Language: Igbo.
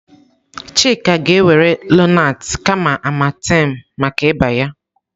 Chika ga-ewere Lonaatị kama Amartem maka ịba ya.